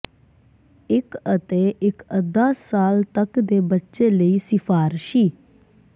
ਇੱਕ ਅਤੇ ਇੱਕ ਅੱਧਾ ਸਾਲ ਤੱਕ ਦੇ ਬੱਚੇ ਲਈ ਸਿਫਾਰਸ਼ੀ